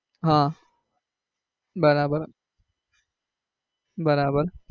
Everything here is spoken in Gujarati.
હમ બરાબર બરાબર